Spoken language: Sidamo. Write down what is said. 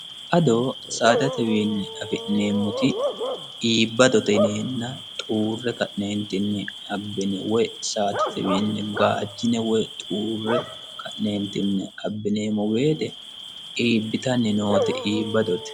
adoo saadatewiinni afi'neemmoti iibbadote yineenna xuurre ka'neentinni abbine woy saate wiinni gaachine woy xuurre ka'neentinni abbineemmo woyiite iibbitanni noote iibbadote